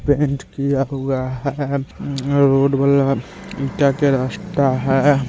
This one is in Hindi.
पेंट किया हुआ है क्या क्या रास्ता है।